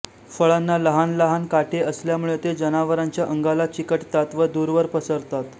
फळांना लहान लहान काटे असल्यामुळे ते जनावरांच्या अंगाला चिकटतात व दूरवर पसरतात